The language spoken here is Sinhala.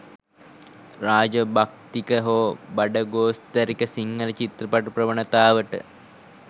රාජ භක්තික හෝ බඩගෝස්තරික සිංහල චිත්‍රපට ප්‍රවණතාවට